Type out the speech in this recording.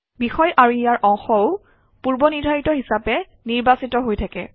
বিষয় আৰু গা অংশও পূৰ্বনিৰ্ধাৰিত হিচাপে নিৰ্বাচিত হৈ থাকে